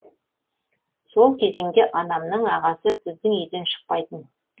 сол кезеңде анамның ағасы біздің үйден шықпайтын